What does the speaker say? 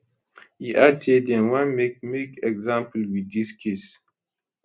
e add say dem wan make make example wit dis case